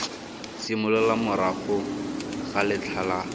simolola morago ga letlha la